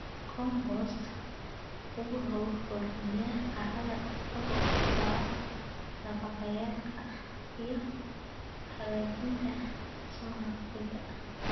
Compost wuxuu hodmiyaa carrada isagoo ku dara nafaqeeyayaalka iyo hagaajinta dhismaha ciidda.